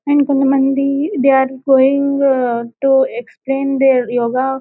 And కొంత మంది they are going to extend their yoga.